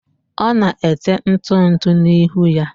ọ na-ete ntụ ntụ n'ihu ya